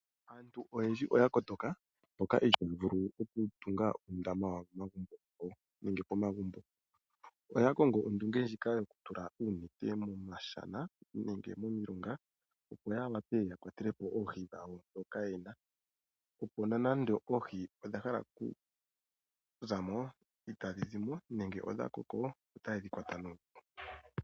Aantu oyendji oya kotoka, okukonga ehala mpoka taya vulu okutunga uundama wawo pomagumbo. Oya kongo ondunge yokutula uunete miishana nenge momilongo, opo ya wape ya kwatele po oohi dhawo ndhoka ye na, opo nonando oohi odha hala okuza mo itadhi zi mo nenge ngele odha koko otaye dhi kwata nuupu.